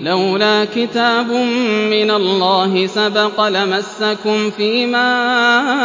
لَّوْلَا كِتَابٌ مِّنَ اللَّهِ سَبَقَ لَمَسَّكُمْ فِيمَا